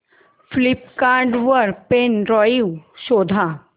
Flipkart वर pen drive शोधा